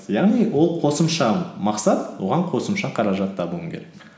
яғни ол қосымша мақсат оған қосымша қаражат табуың керек